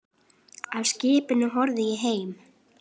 Af skipinu horfi ég heim.